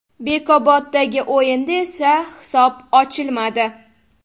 Bekoboddagi o‘yinda esa hisob ochilmadi.